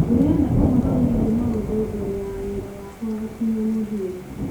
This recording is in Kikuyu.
ndĩrenda ũhoro wĩgiĩ maũndũ mbere ya wĩra wakwa gũkinya mũthia